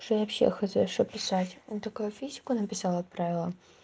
что я вообще хз что писать она такая физику написала отправила